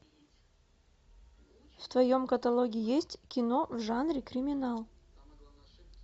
в твоем каталоге есть кино в жанре криминал